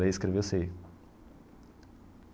Ler e escrever eu sei.